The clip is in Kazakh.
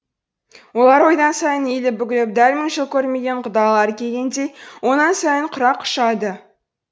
олар одан сайын иіліп бүгіліп дәл мың жыл көрмеген құдалары келгендей онан сайын құрақ ұшады